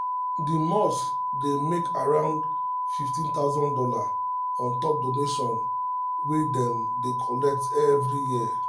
the mosque dey make aroundone hundred and fifty thousand dollars on top donation wey dem dey collect every year